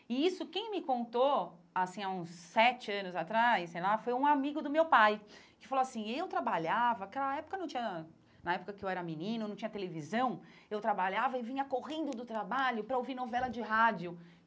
E isso, quem me contou, assim, há uns sete anos atrás, sei lá, foi um amigo do meu pai, que falou assim, eu trabalhava, aquela época não tinha na época que eu era menino, não tinha televisão, eu trabalhava e vinha correndo do trabalho para ouvir novela de rádio.